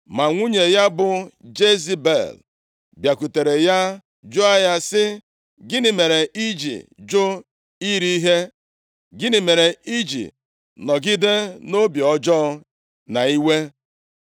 Ma nwunye ya bụ Jezebel, bịakwutere ya jụọ ya sị, “Gịnị mere i ji jụ iri ihe? Gịnị mere i ji nọgide nʼobi ọjọọ na iwe?”